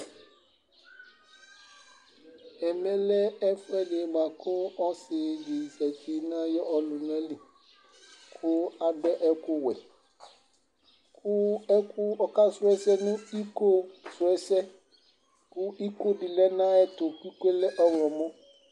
Emɛle ɛfuɛdɩ bʊakʊ ɔsɩdɩ zatɩ nʊ ayʊ ɔlʊnalɩ kʊ adʊ ɛkʊwuɛ kʊ ɔkasu ɛsɛ nʊ ɩkosuɛsɛ kʊ ɩkodɩ lɛnu ayuɛtu ɩkoyɛlɛ ɔyɔmɔ